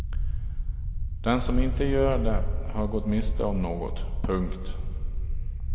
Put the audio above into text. Den som inte gör det har gått miste om något. punkt